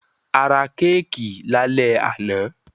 A ra kéékì lálẹ́ àná.